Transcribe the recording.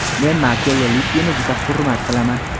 Men Marchello Lippini juda hurmat qilaman.